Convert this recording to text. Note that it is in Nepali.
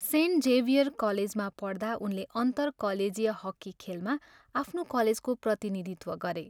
सेन्ट जेभियर कलेजमा पढ्दा उनले 'अन्तर कलेजीय' हकी खेलमा आफ्नो कलेजको प्रतिनिधित्व गरे।